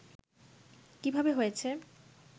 কিভাবে হয়েছে